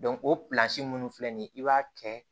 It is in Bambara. o minnu filɛ nin ye i b'a kɛ